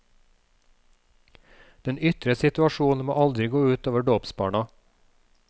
Den ytre situasjon må aldri gå ut over dåpsbarna.